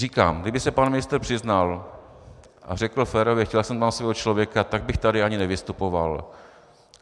Říkám, kdyby se pan ministr přiznal a řekl férově chtěl jsem tam svého člověka, tak bych tady ani nevystupoval.